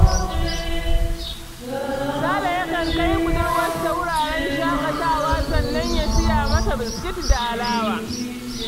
Sale yakan kai budurwarsa wuraren shaƙatawa, sannan ya siya mata biskit da alawa.